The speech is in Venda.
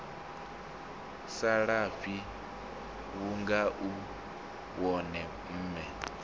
salafhi vhunga u wone mme